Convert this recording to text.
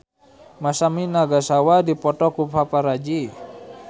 Masami Nagasawa dipoto ku paparazi